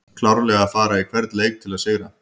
Klárlega að fara í hvern leik til að sigra!